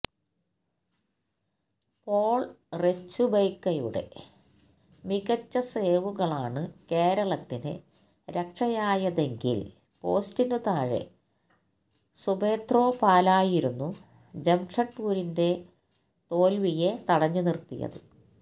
Paul റെച്ചുബ്ക്കെയുടെ മികച്ച സേവുകളാണ് കേരളത്തിന് രക്ഷയായതെങ്കില് പോസ്റ്റിന് താഴെ സുബത്രോ പാലായിരുന്നു ജംഷ്ഡ്പൂരിന്റെ തോല്വിയെ തടഞ്ഞുനിര്ത്തിയത്